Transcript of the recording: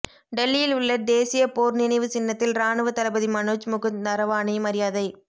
டெல்லியில் உள்ள தேசிய போர் நினைவு சின்னத்தில் ராணுவ தளபதி மனோஜ் முகுந்த் நரவானே மரியாதை